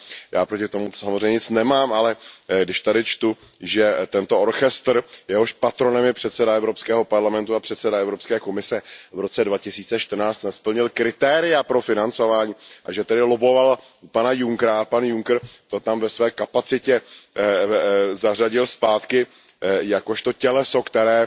Já proti tomu samozřejmě nic nemám, ale když tady čtu, že tento orchestr, jehož patronem je předseda Evropského parlamentu a předseda Evropské komise, v roce 2014 nesplnil kritéria pro financování a že tedy lobboval u pana Junckera a pan Juncker tam orchestr ve své kapacitě zařadil zpátky jakožto těleso, které